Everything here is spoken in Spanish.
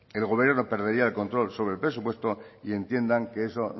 el gobierno perdería el control sobre el presupuesto y entiendan que eso